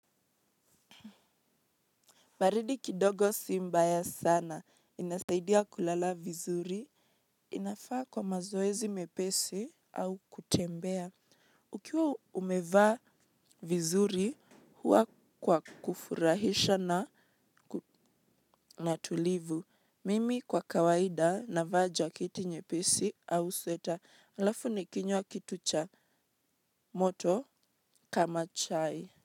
Baridi kidogo si mbaya sana. Inasaidia kulala vizuri. Inafaa kwa mazoezi mepesi au kutembea. Ukiwa umevaa vizuri, huwa kwa kufurahisha na tulivu. Mimi kwa kawaida navaa jaketi nyepesi au sweta. Halafu nikinywa kitu cha moto kama chai.